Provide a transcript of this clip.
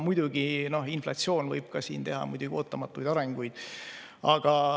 Muidugi, inflatsioon võib teha läbi ootamatuid arenguid.